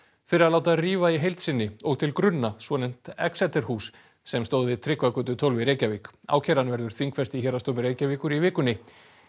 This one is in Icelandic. fyrir að láta rífa í heild sinni og til grunna svonefnt hús sem stóð við Tryggvagötu tólf í Reykjavík ákæran verður þingfest í Héraðsdómi Reykjavíkur í vikunni